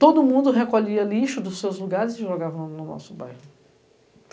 Todo mundo recolhia lixo dos seus lugares e jogava no nosso bairro.